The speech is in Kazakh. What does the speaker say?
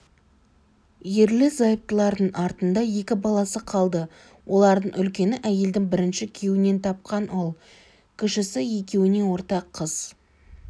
ерлі-зайыптылардың артында екі баласы қалды олардың үлкені әйелдің бірінші күйеуінен тапқан ұл кішісі екеуіне ортақ қыз